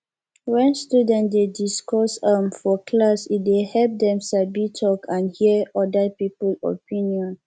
when students dey discuss um for class e dey help dem sabi talk and hear other people opinion